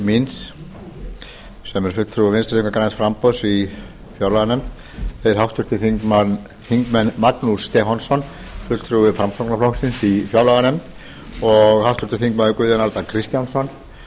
fulltrúi vinstri hreyfingarinnar a græns framboðs í fjárlaganefnd þeir háttvirtir þingmenn magnús stefánsson fulltrúi framsóknarflokksins í fjárlaganefnd og háttvirtir þingmenn guðjón a kristjánsson fulltrúi